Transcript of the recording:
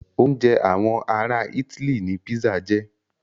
Oúnjẹ àwọn ará itály ní pizza jẹ́.